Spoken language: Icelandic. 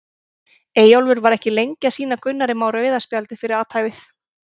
Eyjólfur var ekki lengi að sýna Gunnari Má rauða spjaldið fyrir athæfið.